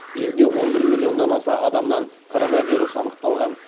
елде он бір миллионнан аса адамнан коронавирус анықталған